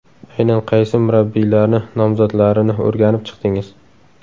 Aynan qaysi murabbiylarni nomzodlarini o‘rganib chiqdingiz?